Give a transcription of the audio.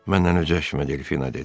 Məndən incəşmə, Delfina dedi.